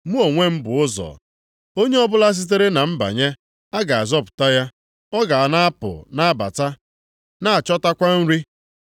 Mụ onwe m bụ ụzọ. Onye ọbụla sitere na m banye, a ga-azọpụta ya. Ọ ga na-apụ na-abata na-achọtakwa nri.